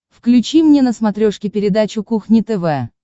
включи мне на смотрешке передачу кухня тв